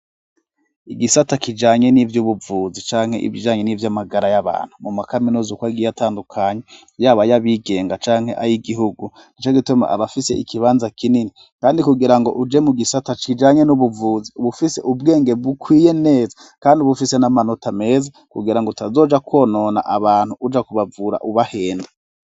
Igisata kijanye n'ivy'ubuvuzi canke ibijanye n'ivy'amagara y'abantu mu makaminuza uko agiye atandukanye, yaba ay'abigenga canke ay'igihugu, nico gituma aba afise ikibanza kinini, kandi kugira ngo uje mu gisata kijanye n'ubuvuzi uba ufise ubwenge bukwiye neza, kandi uba ufise n'amanota meza kugirango utazoja konona abantu uja kubavura ubahenda.